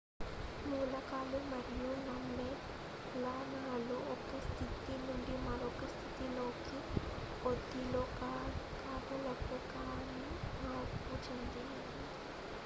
మూలకాలు మరియు సమ్మేళనాలు ఒక స్థితి నుండి మరొక స్థితిలోకి బదిలీ కాగలవు కానీ మార్పు చెందవు